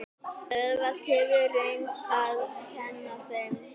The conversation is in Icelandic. Auðvelt hefur reynst að kenna þeim.